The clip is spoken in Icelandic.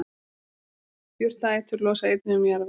Jurtaætur losa einnig um jarðveg.